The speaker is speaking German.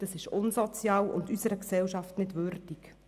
Das ist unsozial und unserer Gesellschaft nicht würdig.